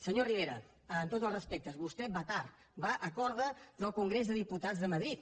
senyor rivera amb tots els respectes vostè va tard va a corda del congrés de diputats de madrid